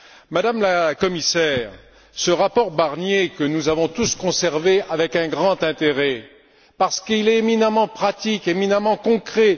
Madame la Commissaire, ce rapport, nous l'avons tous conservé avec un grand intérêt parce qu'il est éminemment pratique et éminemment concret.